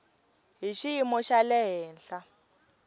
hi xiyimo xa le henhla